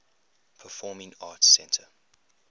performing arts center